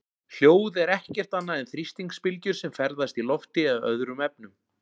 hljóð er ekkert annað en þrýstingsbylgjur sem ferðast í lofti eða öðrum efnum